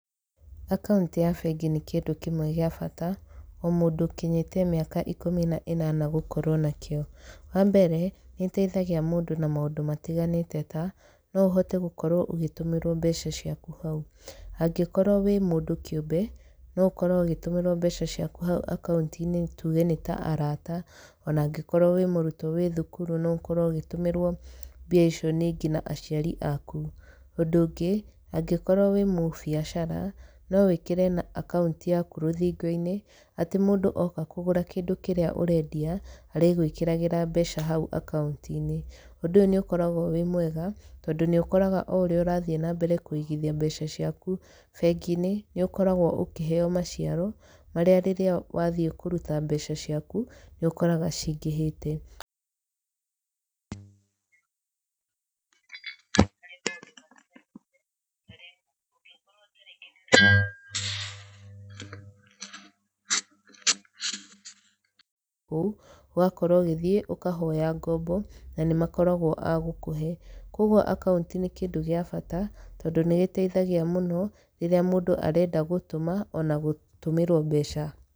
Akaũnti ya bengi nĩ kĩndũ kĩmwe gĩa bata, o mũndũ ũkinyĩtie mĩaka ikũmi na inana gũkorwo nakĩo. Wambere, nĩ ĩteithagia mũndũ na maũndũ matiganĩte ta, noũhote gũkorwo ũgĩtũmĩrwo mbeca ciaku hau, angĩkorwo wĩmũndũ kĩũmbe, noũkorwo ũgĩtũmĩrwo mbeca ciaku hau akaũnti-inĩ, tuge nĩta arata, ona angĩkorwo wĩmũrutwo wĩthukuru no ũkorwo ũgĩtũmĩrwo mbia icio ningĩ na aciari aku. Ũndũ ũngĩ, angĩkorwo wĩmũbiacara, nowĩkĩre akaũnti yaku rũthingo-inĩ, atĩ mũndũ oka kũgũra kĩrĩa ũrendia, arĩgũĩkĩragĩra mbeca hau akaũnti-inĩ. Ũndũ ũyũ nĩ ũkoragwo wĩmwega, tondũ nĩ ũkoraga oũrĩa ũrathiĩ nambere kũigithia mbeca ciaku bengi-inĩ, nĩ ũkoragwo ũkĩheyo maciaro, marĩa rĩrĩa wathiĩ kũruta mbeca caiku, nĩ ũkoraga cingĩhĩte. kũu, ũgakorwo ũgĩthiĩ, ũkahoya ngombo, na nĩmakoragwo a gũkuhe, ũguo akaũnti nĩ kĩndũ gĩa bata, tondũ nĩgĩteithagia mũno, rĩrĩa mũndũ arenda gũtũma, ona gũtũmĩrwo mbeca.